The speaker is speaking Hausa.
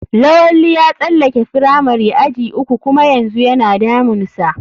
Lawali ya tsalake firamari aji uku kuma yanzu yana damun sa.